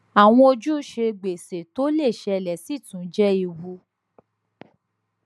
awọn ojuse gbese to le ṣẹlẹ si tun jẹ ewu